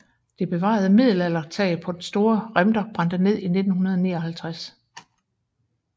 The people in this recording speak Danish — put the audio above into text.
Det bevarede middelaldertag på den store Remter brændte ned i 1959